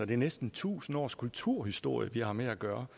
det er næsten tusind års kulturhistorie vi har med at gøre